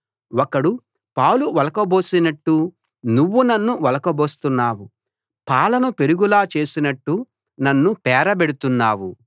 ఒకడు పాలు ఒలకబోసినట్టు నువ్వు నన్ను ఒలకబోస్తున్నావు పాలను పెరుగులా చేసినట్టు నన్ను పేరబెడుతున్నావు